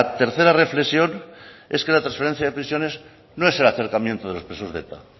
tercera reflexión es que la transferencia de prisiones no es el acercamiento de los presos de eta